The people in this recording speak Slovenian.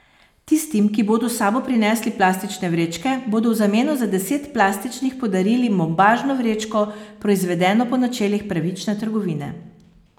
Tistim, ki bodo s sabo prinesli plastične vrečke, bodo v zameno za deset plastičnih podarili bombažno vrečko, proizvedeno po načelih pravične trgovine.